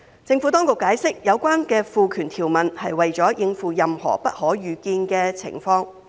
政府當局解釋，有關的賦權條文是為了應付任何不可預見的情況。